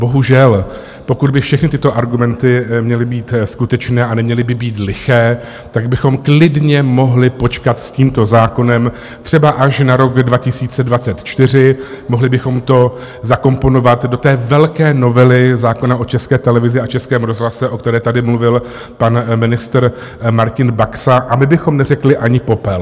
Bohužel, pokud by všechny tyto argumenty měly být skutečné a neměly by být liché, tak bychom klidně mohli počkat s tímto zákonem třeba až na rok 2024, mohli bychom to zakomponovat do té velké novely zákona o České televizi a Českém rozhlase, o které tady mluvil pan ministr Martin Baxa, a my bychom neřekli ani popel.